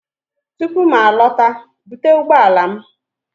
Tupu m alọta, bute ụgbọ ala m!